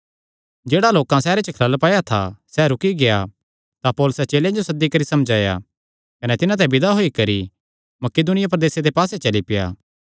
जेह्ड़ा लोकां सैहरे च खलल पाया था सैह़ रुकी गेआ तां पौलुसे चेलेयां जो सद्दी करी समझाया कने तिन्हां ते विदा होई करी मकिदुनिया प्रदेसे दे पास्से चली पेआ